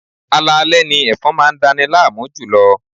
Alaalẹ́ ni ẹ̀fọn máa dani láàmú jùlọ.